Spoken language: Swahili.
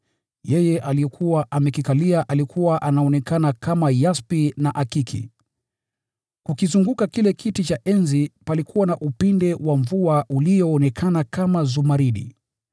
Aliyekuwa amekikalia alikuwa anaonekana kama yaspi na akiki. Kukizunguka kile kiti cha enzi palikuwa na upinde wa mvua ulioonekana kama zumaridi.